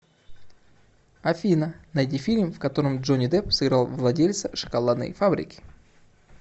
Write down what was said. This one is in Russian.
афина найди фильм в котором джонни депп сыграл владельца шоколадной фабрики